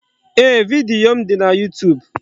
Ee, vidiyo m dị na YuuTuub.